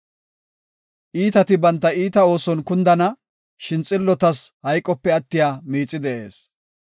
Iitati banta iita ooson kundana; shin xillotas hayqope attiya miixi de7ees.